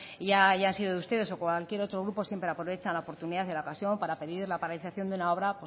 y ya hayan sido ustedes o cualquier otro grupo siempre aprovechan la oportunidad y la ocasión para pedir la paralización de una obra